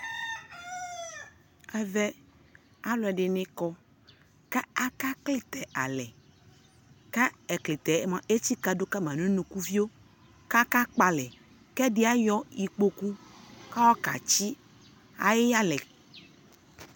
ɛvɛ alʋɛdini kɔ kʋ aka klitɛ alɛ kʋ ɛklitɛ mʋa ɛtsika dʋ kama nʋ ʋnʋkʋɣiɔ kʋ aka kpɔ alɛ kʋ ɛdi ayɔ ikpɔkʋ kʋ ayɔ ka tsi ayi yalɛ